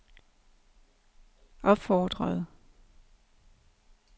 opfordrede